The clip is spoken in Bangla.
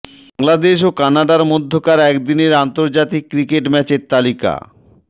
বাংলাদেশ ও কানাডার মধ্যকার একদিনের আন্তর্জাতিক ক্রিকেট ম্যাচের তালিকা